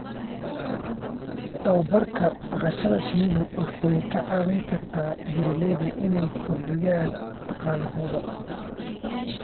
Tababarka dhaqashada shinnidu waxay ka caawin kartaa beeralayda inay kordhiyaan dakhligooda.